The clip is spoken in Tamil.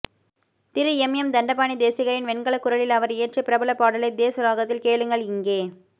திரு எம் எம் தண்டபாணி தேசிகரின் வெண்கல குரலில் அவர் இயற்றிய பிரபல பாடலை தேஷ் ராகத்தில் கேளுங்கள் இங்கே